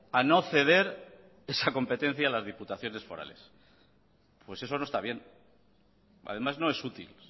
a no ceder esa competencia a las diputaciones forales pues eso no está bien además no es útil